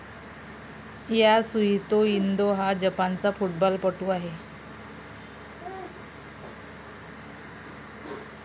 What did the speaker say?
Yasuhito Endo हा जपानचा फूटबॉलपटू आहे.